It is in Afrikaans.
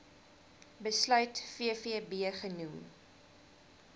besluit vvb genoem